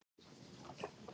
Hvaða vitleysa, sagði hún.